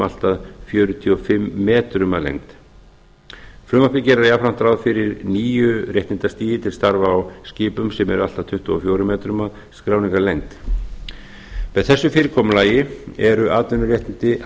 allt að fjörutíu og fimm metrum að lengd frumvarpið gerir jafnframt ráð fyrir nýju réttindastigi til starfa á skipum sem eru allt að tuttugu og fjórum metrum að skráningarlengd með þessu fyrirkomulagi eru atvinnuréttindi